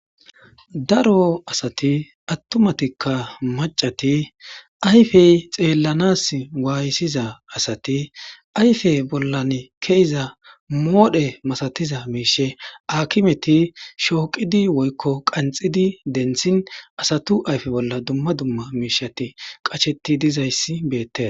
daro asati attumatikka macati ayfey xeellanas waaysiza asati ayfe bollan keiza moodhe masatiza miishe akimeti shooqidi woykko qanxidi dentshin asatu ayfe bolla dumma dumma miishati qacsheti dizayssi beette